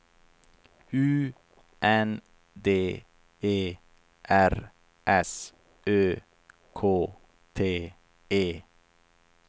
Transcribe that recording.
U N D E R S Ö K T E